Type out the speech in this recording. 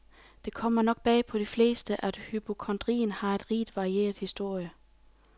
Det kommer nok bag på de fleste at hypokondrien har en rigt varieret historie.